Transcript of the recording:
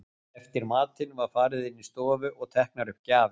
Eftir matinn var farið inn í stofu og teknar upp gjafir.